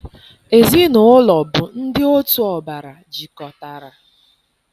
Ezinaụlọ bụ ndị otu ọbara jikọtara.